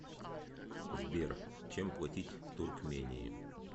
сбер чем платить в туркмении